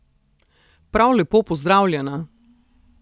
Prav lepo pozdravljena!